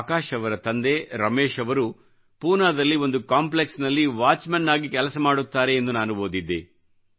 ಆಕಾಶ್ ಅವರ ತಂದೆ ರಮೇಶ್ ಅವರು ಪೂನಾದಲ್ಲಿ ಒಂದು ಕಾಂಪ್ಲೆಕ್ಸ್ ನಲ್ಲಿ ವಾಚ್ ಮ್ಯಾನ್ ಆಗಿ ಕೆಲಸ ಮಾಡುತ್ತಾರೆ ಎಂದು ನಾನು ಓದಿದ್ದೆ